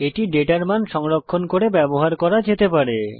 এটি ডেটার মান সংরক্ষণ করতে ব্যবহার করা যেতে পারে